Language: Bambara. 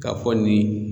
K'a fɔ nin